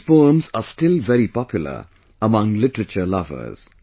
These poems are still very popular among literature lovers